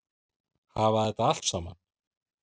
Hafa þetta allt saman?